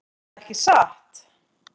Erða ekki satt?